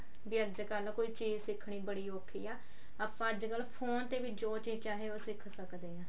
ਵੀ ਅੱਜਕਲ ਕੋਈ ਚੀਜ਼ ਸਿੱਖਣੀ ਬੜੀ ਔਖੀ ਆ ਆਪਾਂ ਅੱਜਕਲ phone ਤੇ ਵੀ ਜੋ ਚੀਜ਼ ਚਾਹੇ ਉਹ ਸਿੱਖ ਸਕਦੇ ਹਾਂ